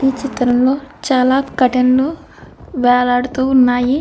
ఈ చిత్రంలో చాలా కర్టీన్ లు వేలాడుతూ ఉన్నాయి.